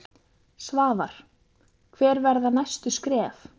Svavar: Hver verða næstu skref?